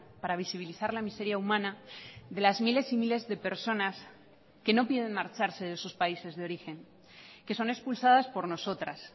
para visibilizar la miseria humana de las miles y miles de personas que no piden marcharse de sus países de origen que son expulsadas por nosotras